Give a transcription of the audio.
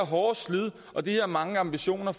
hårde slid og de her mange ambitioner